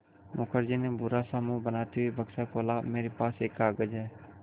मुखर्जी ने बुरा सा मुँह बनाते हुए बक्सा खोला मेरे पास एक कागज़ है